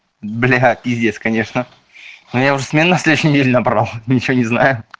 бля пиздец конечно ну я уже смен на следующую неделю набрал ничего не знаю